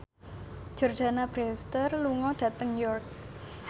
Jordana Brewster lunga dhateng York